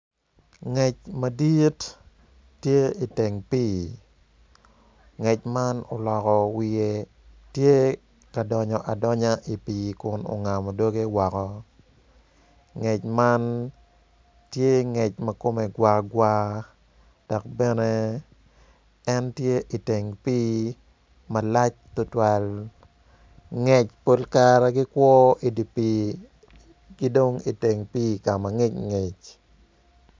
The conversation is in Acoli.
Ngec madit tye iteng pii ngec man oloko wiye tye ka donyo adonya i pii kun ongamo doge woko ngec man tye ngec ma kome gwagwa dok bene en tye iteng pii ma lac tutwal ngec pol kare gikwo idi pii ki dong iteng pii ka mangic ngic.